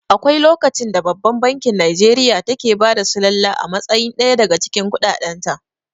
Akwai lokacin da babban bankin Nijeriya take bada sullala a matsayin ɗaya daga cikin kuɗaɗen ta